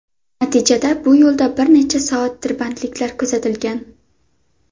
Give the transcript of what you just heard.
Natijada bu yo‘lda bir necha soat tirbandliklar kuzatilgan.